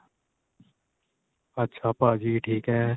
ਅੱਛਾ ਭਾਜੀ ਠੀਕ ਏ.